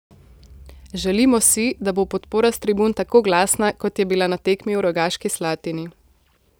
Želimo si, da bo podpora s tribun tako glasna, kot je bila na tekmi v Rogaški Slatini.